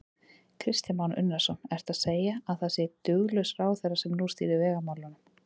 Kristján Már Unnarsson: Ertu að segja að það sé duglaus ráðherra sem nú stýrir vegamálunum?